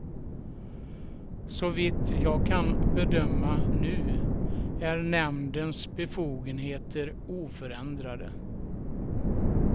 Så vitt jag kan bedöma nu är nämndens befogenheter oförändrade.